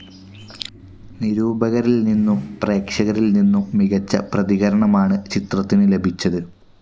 നിരൂപകരിൽ നിന്നും പ്രേക്ഷകരിൽ നിന്നും മികച്ച പ്രതികരണമാണ് ചിത്രത്തിന് ലഭിച്ചത്.